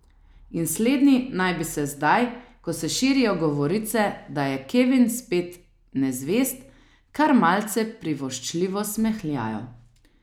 In slednji naj bi se zdaj, ko se širijo govorice, da je Kevin spet nezvest, kar malce privoščljivo smehljalo.